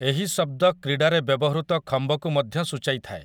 ଏହି ଶବ୍ଦ କ୍ରୀଡ଼ାରେ ବ୍ୟବହୃତ ଖମ୍ବକୁ ମଧ୍ୟ ସୂଚାଇଥାଏ ।